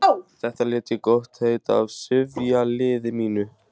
Þetta læt ég gott heita af sifjaliði mínu.